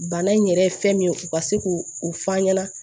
Bana in yɛrɛ ye fɛn min ye u ka se k'o fɔ an ɲɛna